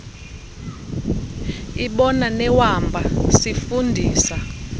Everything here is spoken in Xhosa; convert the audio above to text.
ibona newamba sifundisa